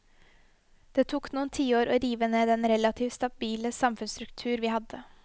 Det tok noen tiår å rive ned den relativt stabile samfunnsstruktur vi hadde.